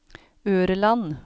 Ørland